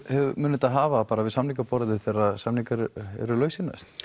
munu þetta hafa við samningaborðið þegar samningar eru lausir næst